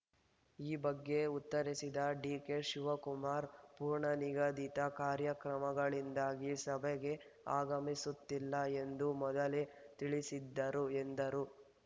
ಈ ಬಗ್ಗೆ ಉತ್ತರಿಸಿದ ಡಿಕೆ ಶಿವಕುಮಾರ್‌ ಪೂರ್ವನಿಗದಿತ ಕಾರ್ಯಕ್ರಮಗಳಿಂದಾಗಿ ಸಭೆಗೆ ಆಗಮಿಸುತ್ತಿಲ್ಲ ಎಂದು ಮೊದಲೇ ತಿಳಿಸಿದ್ದರು ಎಂದರು